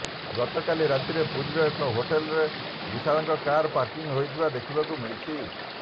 ଗତକାଲି ରାତିରେ ପୁରୀର ଏକ ହୋଟେଲରେ ବିଶାଳଙ୍କ କାର ପାର୍କିଂ ହୋଇଥିବା ଦେଖିବାକୁ ମିଳିଛି